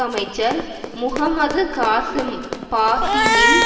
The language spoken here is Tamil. அமைச்சர் முஹம்மது காசீம் பாஹிமின்